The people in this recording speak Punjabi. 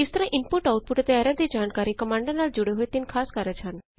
ਇਸ ਤਰਹ ਇਨਪੁਟ ਆਊਟਪੁਟ ਅਤੇ ਐਰਰ ਦੀ ਜਾਣਕਾਰੀ ਕਮਾਂਡਾ ਨਾਲ ਜੁੜੇ ਹੋਏ ਤਿੰਨ ਖ਼ਾਸ ਕਾਰਜ ਹਨ